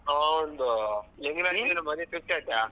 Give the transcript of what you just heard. ಹ ಒಂದು .